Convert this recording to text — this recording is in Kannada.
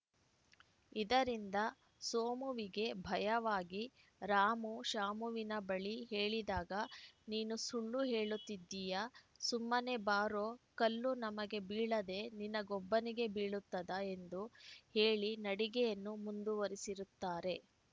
ಇದರಿಂದ ಸೋಮುವಿಗೆ ಭಯವಾಗಿ ರಾಮು ಶಾಮುವಿನ ಬಳಿ ಹೇಳಿದಾಗ ನೀನು ಸುಳ್ಳು ಹೇಳುತ್ತಿದ್ದೀಯಾ ಸುಮ್ಮನೆ ಬಾರೋ ಕಲ್ಲು ನಮಗೆ ಬೀಳದೆ ನಿನಗೊಬ್ಬನಿಗೆ ಬೀಳುತ್ತದಾ ಎಂದು ಹೇಳಿ ನಡಿಗೆಯನ್ನು ಮುಂದುವರೆಸಿರುತ್ತಾರೆ